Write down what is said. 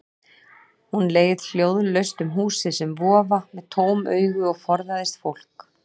Hún leið hljóðlaust um húsið sem vofa, með tóm augu og forðaðist fólk.